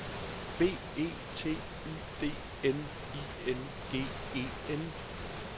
B E T Y D N I N G E N